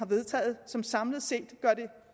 vedtaget og som samlet set gør det